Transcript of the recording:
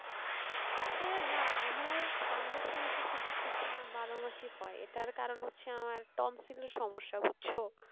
হ্যাঁ না আমার ঠান্ডার সমস্যা শুধু শীতে না বারো মাসই হয় এটার কারণ হচ্ছে আমার tonsil এর সমস্যা বুঝছো